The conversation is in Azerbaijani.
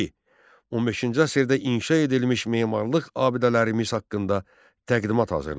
İki. 15-ci əsrdə inşa edilmiş memarlıq abidələrimiz haqqında təqdimat hazırla.